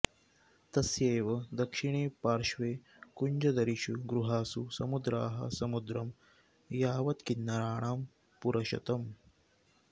तस्यैव दक्षिणे पार्श्वे कुञ्जदरीषु गुहासु समुद्राः समुद्रं यावत्किन्नराणां पुरशतम्